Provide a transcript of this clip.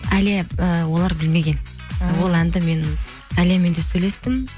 әлия ііі олар білмеген ол әнді мен әлиямен де сөйлестім